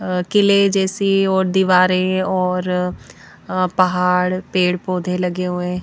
अ किले जैसी और दीवारें और अ पहाड़ पेड़-पौधे लगे हुए --